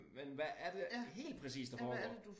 Men hvad er det helt præcist der foregår